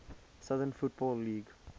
southern football league